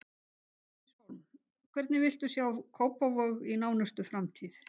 Bryndís Hólm: Hvernig viltu sjá Kópavog í nánustu framtíð?